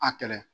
A kɛlɛ